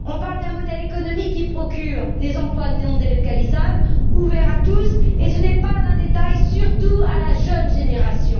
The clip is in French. Nous parlons d'un modèle économique qui procure des emplois non délocalisables, ouverts à tous et ce n'est pas un détail surtout pour la jeune génération.